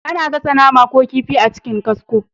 A na gasa nama ko kifi a cikin kasko